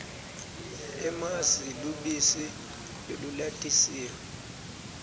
emasi lubisi lolulatisiwe